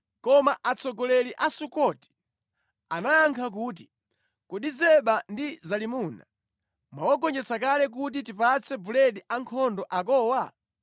Koma atsogoleri a Sukoti anayankha kuti, “Kodi Zeba ndi Zalimuna mwawagonjetsa kale kuti tipatse buledi ankhondo akowa?”